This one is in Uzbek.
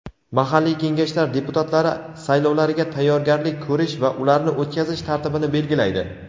mahalliy kengashlar deputatlari saylovlariga tayyorgarlik ko‘rish va ularni o‘tkazish tartibini belgilaydi.